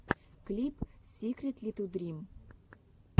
клип сикритлитудрим